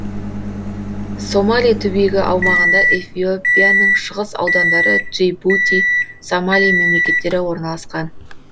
сомали түбегі аумағында эфиопияның шығыс аудандары джибути сомали мемлекеттері орналасқан